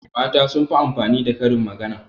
mata sun fi amfani da Karin magana